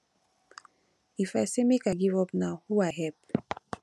if i say make i give up now who i help